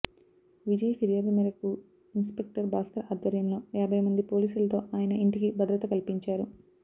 విజయ్ ఫిర్యాదు మేరకు ఇన్స్పెక్టర్ భాస్కర్ ఆధ్వర్యంలో యాభై మంది పోలీసులతో ఆయన ఇంటికి భద్రత కల్పించారు